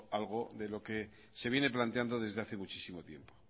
algo de lo que se viene planteando desde hace muchísimo tiempo